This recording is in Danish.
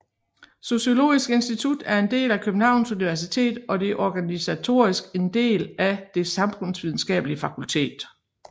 Sociologisk Institut er en del af Københavns Universitet og organisatorisk en del af Det Samfundsvidenskabelige Fakultet